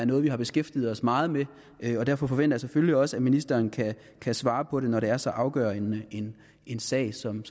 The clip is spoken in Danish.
noget vi har beskæftiget os meget med derfor forventer jeg selvfølgelig også at ministeren kan svare på det når det er så afgørende en sag som